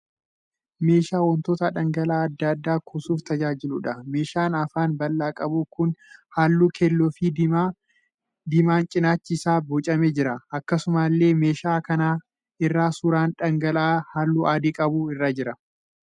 Meeshaa wantoota dhangala'aa adda addaa kuusuuf tajaajiluudha. Meeshaan afaan bal'aa qabu kun halluu keelloo fi diimaan cinaachi isaa boocamee jira. Akkasumallee meeshaa kana irra suuraan dhangala'aa halluu adii qabuu irra jira.